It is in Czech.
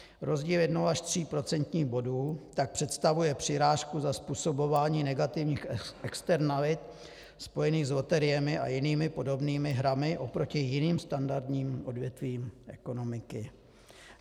Rozdíl jednoho až tří procentních bodů tak představuje přirážku za způsobování negativních externalit spojených s loteriemi a jinými podobnými hrami oproti jiným standardním odvětvím ekonomiky.